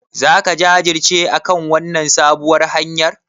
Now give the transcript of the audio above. Zaka jajirce akan wannan sabuwar hanyar?